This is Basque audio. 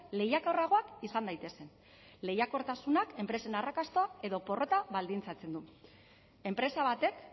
lehiakorragoak izan daitezen lehiakortasunak enpresen arrakasta edo porrota baldintzatzen du enpresa batek